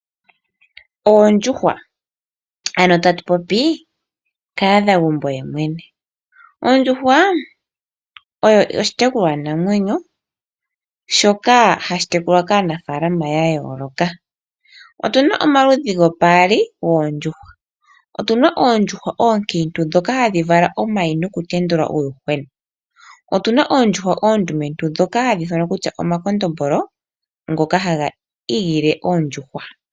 Oondjuhwa, ano tatu popi kahadhagumbo yemwene. Ondjuhwa oyo oshitekulwanamwenyo shoka hashi tekulwa kaanafaalama ya yooloka. Otu na omaludhi gopaali goondjuhwa. Otu na oondjuhwa oonkiintu ndhoka hadhi vala omayi nokutendula uuyuhwena. Otu na oondjuhwa oondumentu ndhoka hadhi ithanwa kutya omakondombolo ngoka haga igele oondjuhwa.